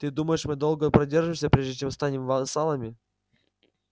ты думаешь мы долго продержимся прежде чем станем вассалами